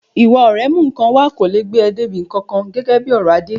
Ìwà ọ̀rẹ́ mú nǹkan wá kò lè gbé ọ dé ibi kankan, gẹ́gẹ́ bí ọ̀rọ̀ Adé.